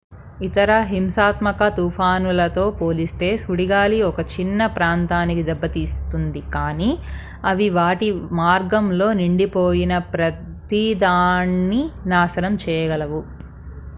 ఇతర హింసాత్మక తుఫానులతో పోలిస్తే సుడిగాలి ఒక చిన్న ప్రాంతాన్ని దెబ్బతీస్తుంది కానీ అవి వాటి మార్గంలో నిండిపోయిన ప్రతిదాన్ని నాశనం చేయగలవు